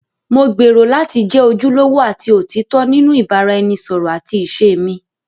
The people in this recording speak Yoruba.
Mo gbèrò láti jẹ́ ojúlówó àti òtítọ́ nínú ìbáraẹnisọ̀rọ̀ àti ìṣe mi.